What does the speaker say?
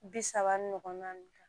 Bi saba ni ɲɔgɔn na nin kan